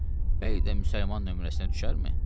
Bəy də müsəlman nömrəsinə düşərmi?